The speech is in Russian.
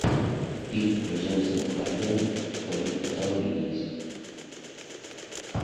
фильм с джеймсом корденом в твоем каталоге есть